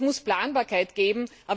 Es muss Planbarkeit geben.